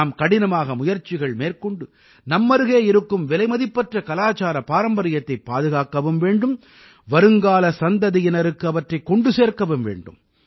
நாம் கடினமாக முயற்சிகள் மேற்கொண்டு நம்மருகே இருக்கும் விலைமதிப்பற்ற கலாச்சார பாரம்பரியத்தைப் பாதுகாக்கவும் வேண்டும் வருங்கால சந்ததியினருக்கு அவற்றைக் கொண்டு சேர்க்கவும் வேண்டும்